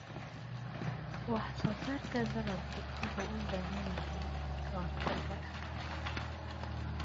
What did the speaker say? Wax-soo-saarka dalaggu wuxuu u baahan yahay ka-hortagga cudurrada.